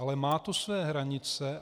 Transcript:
Ale má to své hranice.